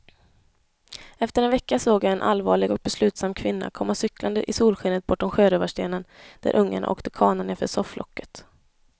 Efter en vecka såg jag en allvarlig och beslutsam kvinna komma cyklande i solskenet bortom sjörövarstenen, där ungarna åkte kana nerför sofflocket.